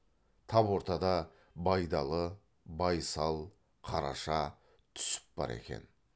тап ортада байдалы байсал қараша түсіп бар екен